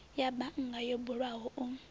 ya bannga yo bulwaho u